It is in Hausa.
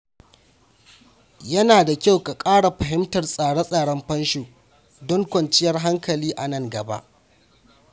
Yana da kyau ka ƙara fahimtar tsare-tsaren fansho don samun kwanciyar hankali a nan gaba.